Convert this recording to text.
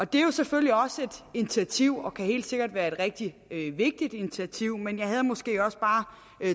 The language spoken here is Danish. det er jo selvfølgelig også et initiativ og kan helt sikkert være et rigtig vigtigt initiativ men jeg havde måske også bare